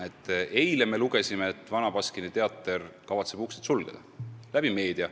Eile me saime meediast teada, et Vana Baskini Teater kavatseb uksed sulgeda.